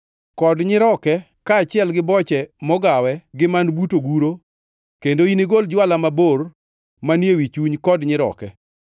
kod nyiroke kaachiel gi boche mogawe gi man but oguro kendo inigol jwala mabor manie wi chuny kod nyiroke.